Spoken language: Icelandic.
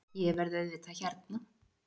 Ég verð auðvitað hérna